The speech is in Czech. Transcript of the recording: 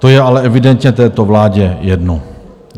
To je ale evidentně této vládě jedno.